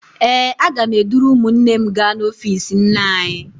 Ee, aga m eduru ụmụnne m gaa n'ọfiisi nne anyị.